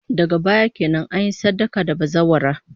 Daga baya kenan, an yi sadaka da bazawara